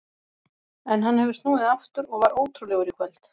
En hann hefur snúið aftur og var ótrúlegur í kvöld.